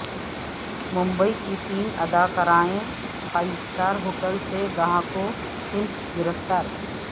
ممبئی کی تین اداکارائیں فائیو سٹار ہوٹل سے گاہکوں سمیت گرفتار